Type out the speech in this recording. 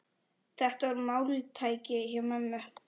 Þetta var máltæki hjá ömmu.